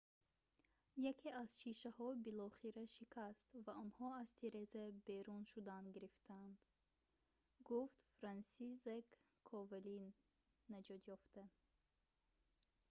яке аз шишаҳо билохира шикаст ва онҳо аз тиреза берун шудан гирифтанд,» гуфт франсисзек ковали наҷотёфта